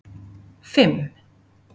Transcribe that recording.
fimm